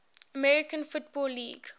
american football league